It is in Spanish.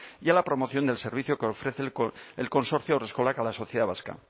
y a la promoción del servicio que ofrece el consorcio haurreskolak a la sociedad vasca